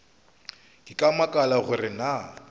ke a makala gore na